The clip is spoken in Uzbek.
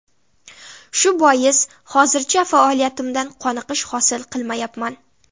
Shu bois, hozircha faoliyatimdan qoniqish hosil qilmayapman.